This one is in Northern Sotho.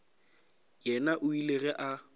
yena o ile ge a